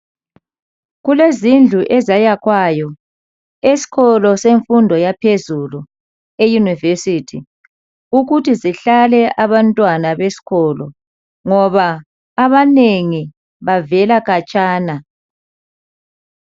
Kulezindlu ezayakhwayo esikolo semfundo yaphezulu eyunivesithi ukuthi zihlale abantwana besikolo ngoba abanengi bavela khatshana.